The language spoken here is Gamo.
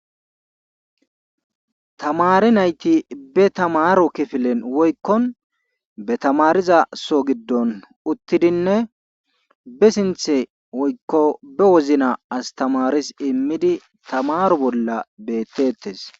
tamari nayti be tamaaro kifilen woykkon be tamariza so giddon uttidinne be sinthe woykko be wozna astamaris immidi tamaro bolla bettettes